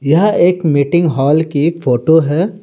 यह एक meeting hall की फोटो है।